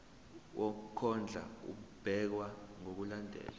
wokondla ubekwa ngokulandlela